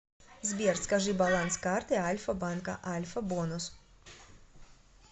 сбер скажи баланс карты альфа банка альфа бонус